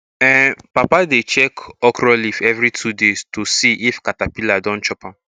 um papa dey check okra leaf every two days to see if caterpillar don chop am